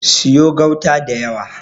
Siyo gauta da yawa.